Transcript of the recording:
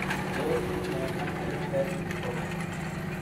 Tos ibunee Mantle cell lymphoma?